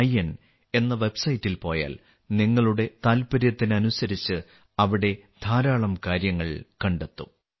in എന്ന വെബ്സൈറ്റിൽ പോയാൽ നിങ്ങളുടെ താൽപ്പര്യത്തിനനുസരിച്ച് അവിടെ ധാരാളം കാര്യങ്ങൾ കണ്ടെത്തും